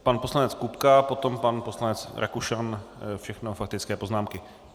Pan poslanec Kupka, potom pan poslanec Rakušan, všechno faktické poznámky.